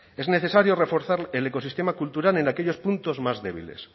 es necesario reforzar el ecosistema cultural en aquellos puntos más débiles